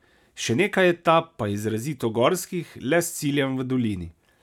Še nekaj etap pa je izrazito gorskih, le s ciljem v dolini.